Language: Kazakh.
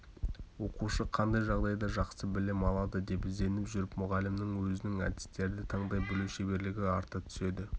оқушы қандай жағдайда жақсы білім алады деп ізденіп жүріп мұғалімнің өзінің әдістерді таңдай білу шеберлігі арта түседі